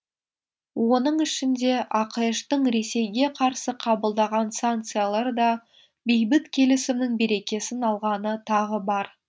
оның ішінде ақш тың ресейге қарсы қабылдаған санкциялары да бейбіт келісімнің берекесін алғаны тағы бар